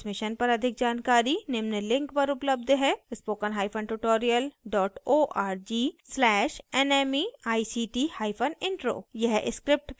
इस mission पर अधिक जानकारी निम्न link पर उपलब्ध है